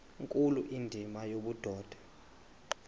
nkulu indima yobudoda